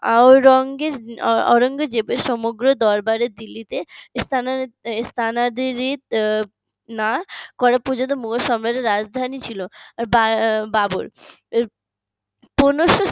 আওরাঙ্গ আওরঙ্গজেবের সমগ্র দরবারের দিল্লিতে স্থানান্তরিত না করার পর্যন্ত মোগল সাম্রাজ্য রাজধানী ছিল বা বাবর পনেরো শো